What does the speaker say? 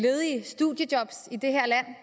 ledige studiejob i det her land